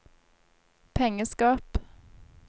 pengeskap